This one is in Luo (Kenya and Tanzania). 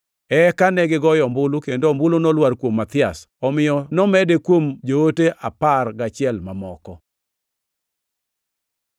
Eka negigoyo ombulu, kendo ombulu nolwar kuom Mathias. Omiyo nomede kuom joote apar gachiel mamoko.